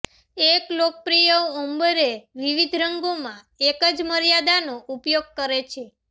એક લોકપ્રિય ઓમ્બરે વિવિધ રંગોમાં એક જ મર્યાદાનો ઉપયોગ કરે છે